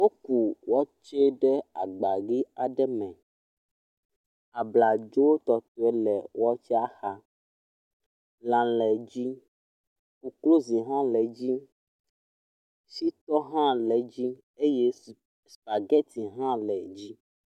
Woku watsɛ ɖe agba ʋi aɖe me. abladzo tɔtɔe le watsɛa xa lã le edzi koklozi hã le edzi, shitɔ hã le edzi eye supageti hã le edzi.